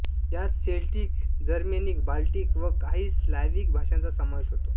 यात Celtic Germanic Baltic व काही स्लाव्हिक भाषांचा समावेश होतो